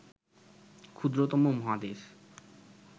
ক্ষুদ্রতম মহাদেশ